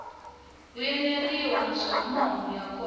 vuyeleriwa naswona mahungu ya kona